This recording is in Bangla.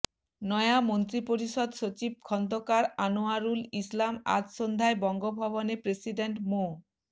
নয়া মন্ত্রিপরিষদ সচিব খন্দকার আনোয়ারুল ইসলাম আজ সন্ধ্যায় বঙ্গভবনে প্রেসিডেন্ট মো